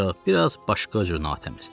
ancaq biraz başqa cür natəmizdir.